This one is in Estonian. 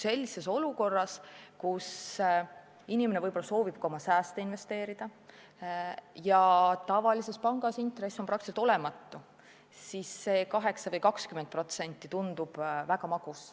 Sellises olukorras, kus inimene soovib oma sääste investeerida ja tavalises pangas on intress praktiliselt olematu, tundub 8% või 20% väga magus.